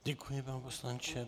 Děkuji, pane poslanče.